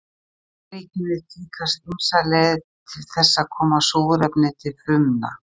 í dýraríkinu tíðkast ýmsar leiðir til þess að koma súrefni til frumna